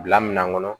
Bila minan kɔnɔ